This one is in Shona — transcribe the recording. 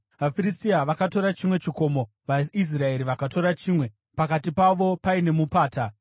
VaFiristia vakatora chimwe chikomo, vaIsraeri vakatora chimwe, pakati pavo paine mupata.